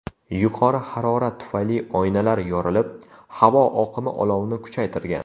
Yuqori harorat tufayli oynalar yorilib, havo oqimi olovni kuchaytirgan.